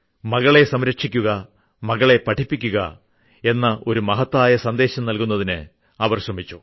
മകളെ സംരക്ഷിക്കുക മകളെ പഠിപ്പിക്കുക എന്ന ഒരു മഹത്തായ സന്ദേശം നൽകുന്നതിന് അവർ ശ്രമിച്ചു